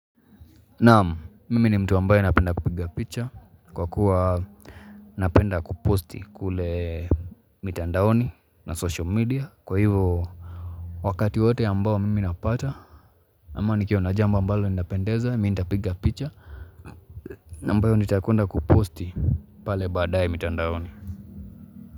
Naam, mimi ni mtu ambayo napenda kupiga picha kwa kuwa napenda kuposti kule mitandaoni na social media kwa hivyo wakati wote ambao mimi napata. Ama nikiwa na jambo ambalo linapendeza, mi ntapiga picha. Na ambayo nitakwenda kuposti pale baadae mitandaoni.